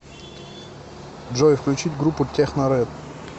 джой включить группу техно рэд